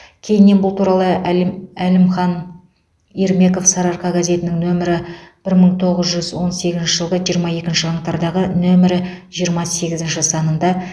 кейіннен бұл туралы әлім әлімхан ермеков сарыарқа газетінің нөмірі бір мың тоғыз жүз он сегізінші жылғы жиырма екінші қаңтардағы нөмірі жиырма сегізінші санында